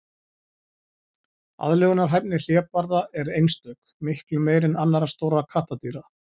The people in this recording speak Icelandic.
Aðlögunarhæfni hlébarða er einstök, miklu meiri en annarra stórra kattardýra.